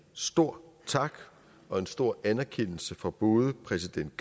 stor tak og en stor anerkendelse fra både præsident